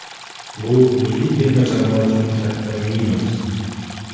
Bu milliy terma jamoa uchun katta minus.